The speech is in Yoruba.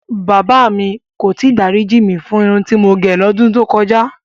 Bàbá mi kò tí ì dáríjì mí fún irun tí mo gẹ̀ lọ́dún tó kọjá.